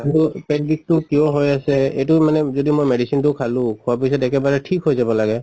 পেট বিষটো কিয় হৈ আছে এইটো মানে মই যদি medicine টো খালো খোৱা পিছত একেবাৰে ঠিক কৈ যাব লাগে।